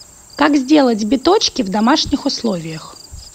как сделать биточки в домашних условиях